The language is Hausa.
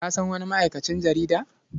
Ka san wani ma'aikacin jarida?